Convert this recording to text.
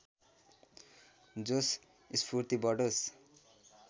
जोश स्फूर्ति बढोस्